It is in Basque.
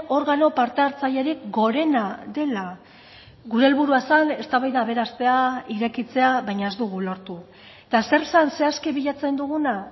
organo parte hartzailerik gorena dela gure helburua zen eztabaida aberastea irekitzea baina ez dugu lortu eta zer zen zehazki bilatzen duguna